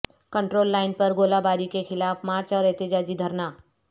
control line پر گولہ باری کے خلاف مارچ اور احتجاجی دھرنا